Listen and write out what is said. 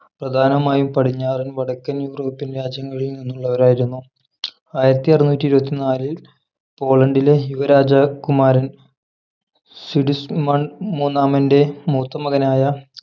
പ്രധാനമായും പടിഞ്ഞാറൻ വടക്കൻ യൂറോപ്യൻ രാജ്യങ്ങളിൽ നിന്നുള്ളവർ ആയിരുന്നു ആയിരത്തിഅറന്നൂറ്റിഇരുപത്തിനാലിൽ പോളണ്ടിലെ യുവ രാജകുമാരൻ സിഡിസ്മണ്ട് മൂന്നാമന്റെ മൂത്തമകനായ